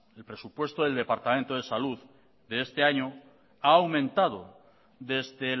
el presupuesto del departamento de salud de este año ha aumentado desde